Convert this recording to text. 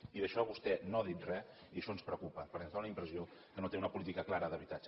i d’això vostè no n’ha dit res i això ens preocupa perquè ens fa la impressió que no té una política clara d’habitatge